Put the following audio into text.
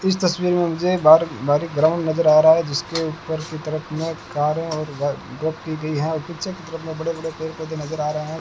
इस तस्वीर में मुझे बाहर बाहर एक ग्राउंड नजर आ रहा है जिसके उपर की तरफ में कारें और हैं और पीछे की तरफ में बड़े-बड़े पेड-पौधे नजर आ रहे हैं।